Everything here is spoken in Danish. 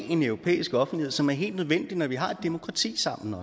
en europæisk offentlighed som er helt nødvendig når vi også har et demokrati sammen